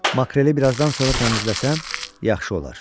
Makreli bir azdan sonra təmizləsəm, yaxşı olar.